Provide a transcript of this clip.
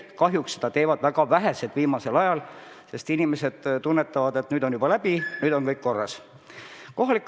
Kahjuks seda teevad väga vähesed viimasel ajal, sest inimesed tunnetavad, et nüüd on puhang juba läbi, nüüd on kõik korras.